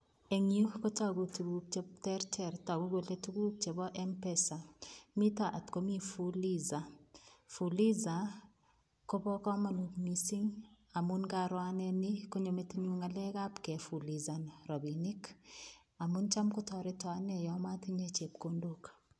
Eng yu kotogu tukuk che tereter, tagu kole tukuk chebo mpesa. Mito atkomi fuliza. Fuliza kobo komonut mising, amun ng'aro ane ni konyo metinyu ng'alekap kefulizan rabinik amun cham kotoreto ane yo matinye chepkondok.